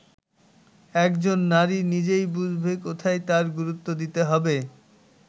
একজন নারী নিজেই বুঝবে কোথায় তার গুরুত্ব দিতে হবে”।